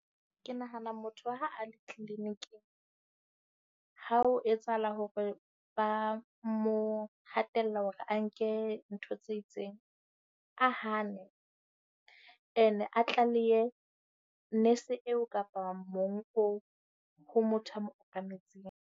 Ke nahana motho ha a le clinic-ing ha ho etsahala hore ba mo hatella hore a nke ntho tse itseng, a hane. Ene a tlalehe nese eo kapa mong oo ho motho ya mo okametseng.